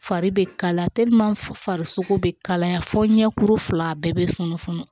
Fari be kalaya farisoko be kalaya fo ɲɛkuru fila bɛɛ be funu funu